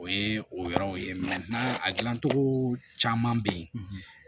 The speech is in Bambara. O ye o yɔrɔw ye a dilancogo caman bɛ yen